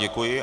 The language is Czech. Děkuji.